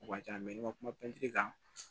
O ka ca ni ma kuma pɛntiri kan